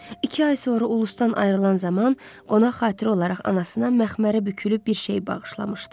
İki ay sonra Ulustan ayrılan zaman qonaq xatirə olaraq anasına məxmərə bükülüb bir şey bağışlamışdı.